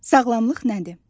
Sağlamlıq nədir?